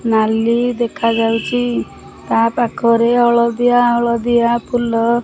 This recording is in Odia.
ନାଲି ଦେଖାଯାଉଛି ତାପାଖରେ ହଳଦିଆ ହଳଦିଆ ଫୁଲ।